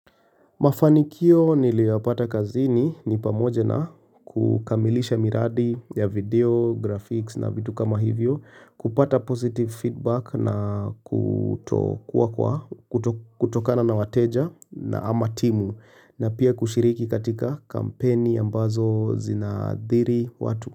Mafanikio niliyapata kazini ni pamoja na kukamilisha miradi ya video, graphics na vitu kama hivyo, kupata positive feedback na kutokana na wateja na ama timu na pia kushiriki katika kampeni ambazo zinaadhiri watu.